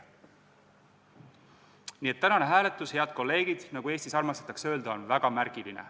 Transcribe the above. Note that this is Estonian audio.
Nii et tänane hääletus, head kolleegid, nagu Eestis armastatakse öelda, on väga märgiline.